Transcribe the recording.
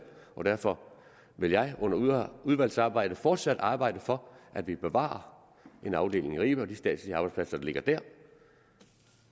og derfor vil jeg under udvalgsarbejdet fortsat arbejde for at vi bevarer en afdeling i ribe og de statslige arbejdspladser der ligger der